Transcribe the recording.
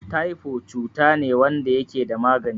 Taifo cutane wanda yakeda magani